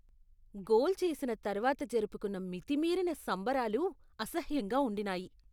Goal చేసిన తర్వాత జరుపుకున్న మితిమీరిన సంబరాలు అసహ్యంగా ఉండినాయి.